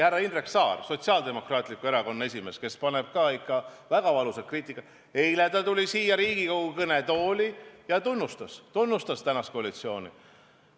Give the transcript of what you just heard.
Härra Indrek Saar, Sotsiaaldemokraatliku Erakonna esimees, kes enamasti paneb ikka väga valusat kriitikat, tuli eile siia Riigikogu kõnetooli ja tunnustas praegust koalitsiooni.